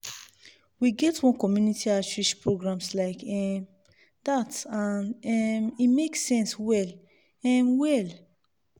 we get one community outreach programs like um that and um e make sense well um well.